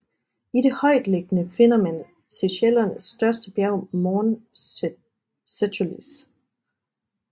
I det højtliggende finder man Seychellernes største bjerg Morne Seychellois